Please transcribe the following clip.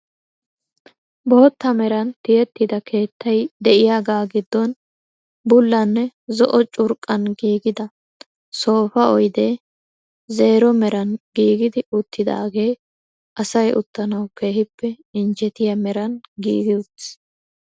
Bootta meran tiyettida keettay de'iyagaa giddon bullanne zo"o curqqan giigida sofa oydee zeero meran giigidi uttidaagee asay uttanawu keehippe injjetiya meran giigi uttiis.